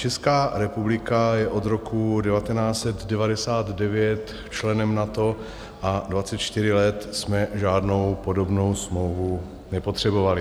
Česká republika je od roku 1999 členem NATO a 24 let jsme žádnou podobnou smlouvu nepotřebovali.